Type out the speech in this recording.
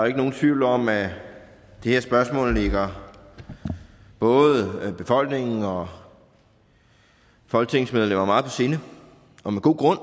ikke nogen tvivl om at det her spørgsmål ligger både befolkningen og folketingsmedlemmerne meget på sinde og med god grund